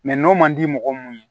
n'o man di mɔgɔ mun ye